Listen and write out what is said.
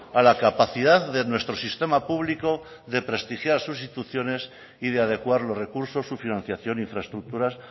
a la capacidad de nuestro sistema público de prestigiar sus instituciones y de adecuar los recursos su financiación infraestructuras